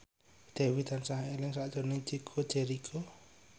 Dewi tansah eling sakjroning Chico Jericho